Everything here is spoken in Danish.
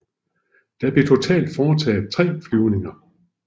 Der blev totalt foretaget tre flyvninger